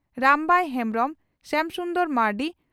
Rambai Hembrom Shyam Sundar Marandi